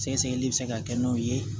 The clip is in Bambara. Sɛgɛsɛgɛli bɛ se ka kɛ n'o ye